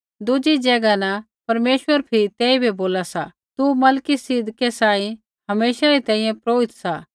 दुज़ी ज़ैगा न परमेश्वर फिरी तेइबै बोला सा तू मलिकिसिदकै सांही हमेशै री तैंईंयैं पुरोहित सा